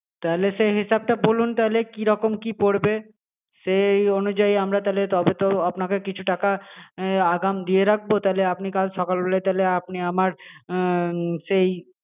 তাহলে সেই হিসাবটা বলুন তাহলে কিরকম কি পরবে সেই অনুযায়ী আমরা তাহলে তবে তো আপনাকে কিছু টাকা আগাম দিয়ে রাখবো তাহলে আপনি কাল সকালবেলা তাহলে আপনি আমার উমম সেই